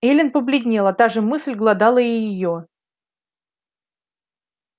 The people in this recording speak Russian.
эллин побледнела та же мысль глодала и её